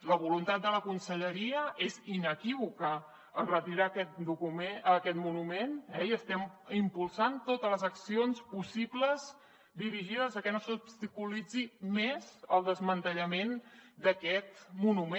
la voluntat de la conselleria és inequívoca retirar aquest monument i estem impulsant totes les accions possibles dirigides a que no s’obstaculitzi més el desmantellament d’aquest monument